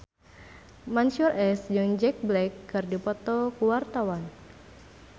Mansyur S jeung Jack Black keur dipoto ku wartawan